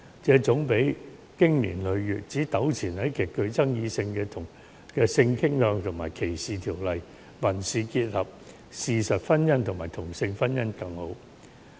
這總比經年累月糾纏於極具爭議性的性傾向歧視法例、民事結合、事實婚姻和同性婚姻為佳。